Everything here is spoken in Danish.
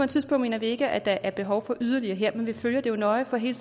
tidspunkt mener vi ikke at der er behov for yderligere her men vi følger det nøje for hele